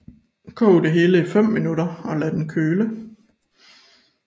Kog det hele i 5 minutter og lad den køle